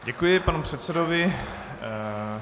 Děkuji panu předsedovi.